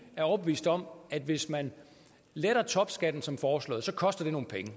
er overbeviste om at det hvis man letter topskatten som foreslået koster nogle penge